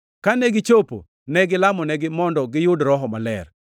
Kane gichopo, ne gilamonegi mondo giyud Roho Maler,